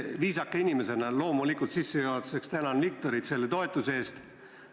Viisaka inimesena ma sissejuhatuseks loomulikult tänan Viktorit toetuse eest.